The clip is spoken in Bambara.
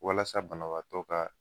Walasa banabaatɔ ka